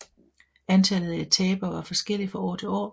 Antallet af etaper var forskellige fra år til år